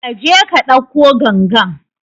Kaje ka ɗauko gangan